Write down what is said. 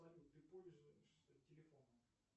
салют ты пользуешься телефоном